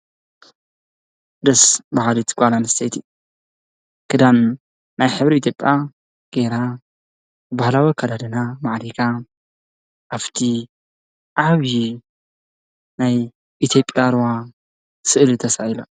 ደስ ባሃሊተ ጓል ኣንስተይቲ ክዳን ናይ ሕብሪ ኢትዮጵያ ገይራ ባህላዊ ኣከዳድና ማዕሪጋ ኣፍቲ ዓብይ ናይ ኢትዮጵያ ሩባ ስእሊ ተሳኢላ።